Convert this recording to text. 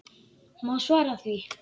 Má svara því?